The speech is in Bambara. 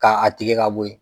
K'a a tigɛ ka bo yen